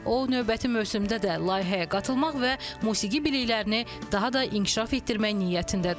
O növbəti mövsümdə də layihəyə qatılmaq və musiqi biliklərini daha da inkişaf etdirmək niyyətindədir.